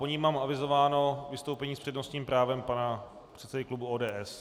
Po ní mám avizováno vystoupení s přednostním právem pana předsedy klubu ODS.